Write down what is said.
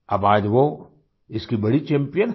अब आज वो इसकी बड़ी चैम्पियन हैं